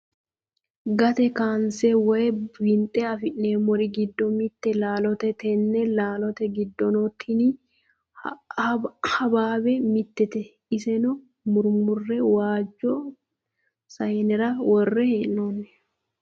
Gatte kaayinise woyi winixxe afinemorri giddo mitte laalote tenne laalote giddono tini habihabe mittete issenno murimmure waajjo saayinera worre heenoni